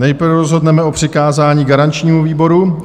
Nejprve rozhodneme o přikázání garančnímu výboru.